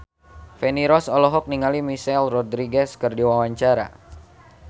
Feni Rose olohok ningali Michelle Rodriguez keur diwawancara